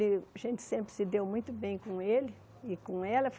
E a gente sempre se deu muito bem com ele e com ela.